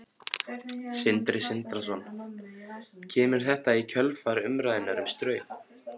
Sindri Sindrason: Kemur þetta í kjölfar umræðunnar um Straum?